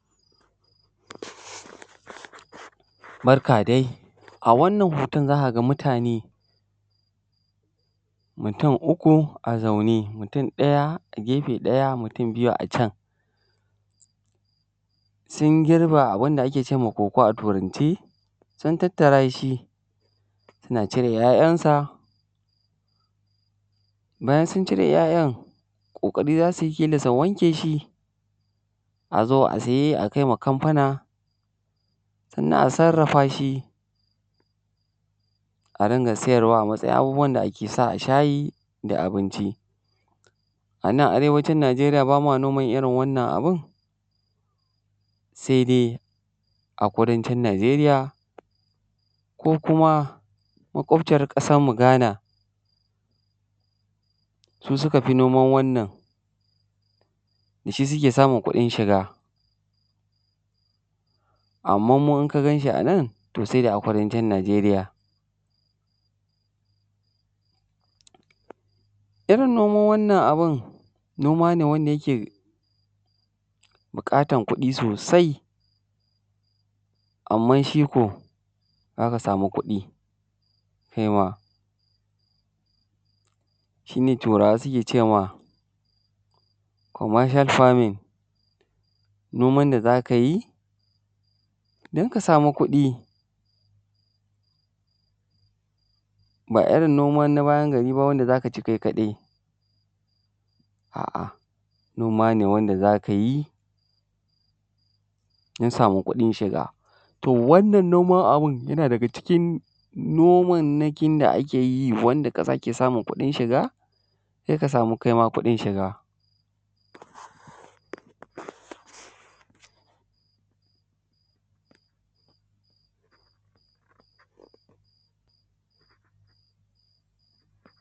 Barka dai a wannan hoton za ka ga mutane mutum uku a zaune mutum ɗaya a gefe ɗaya mutum biyu a can sun girba abun da ake ce ma koko a turance, sun tattara shi suna cire ya'yansa. Bayan sun cire ya'yan ƙoƙari za su yi su wanke shi a zo a saye a kaiwa kamfuna sannan a sarrafa shi sannan a sayar a matsayin abubuwan da ake shayi da abinci. A nan Arewacin Nijeriya ba ma noma irin wannan abun sai dai a kudancin Nijeriya ko makwabciyar ƙasarmu Ghana su sukafi noman wannan da shi suke samun kuɗin shiga, amma mu idan ka ganshi a nan sai dai a kudancin Nijeriya. Irin noman wannan abu noma ne da yake buƙatar kuɗi sosai amma za ka sama kuɗi kaima. Shi turawa suke ce ma commercial Farming, noman da za ka ayi don ka sama kuɗi ba irin noma na bayan gari da za ka cinkao kaɗai, a'a noma me wanda za ka yi don samun kuɗin shiga. To wannan noman abun yana daga cikin nomammakin da ake yi, wanda ƙasa ke samun kuɗi shiga sai ka samu kuɗin shiga.